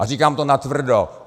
A říkám to natvrdo.